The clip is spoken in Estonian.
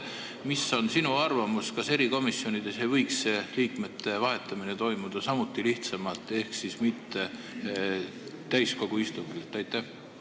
Mis on sinu arvamus, kas erikomisjonides ei võiks see liikmete vahetamine toimuda samuti lihtsamalt ehk mitte täiskogu istungil hääletamisega?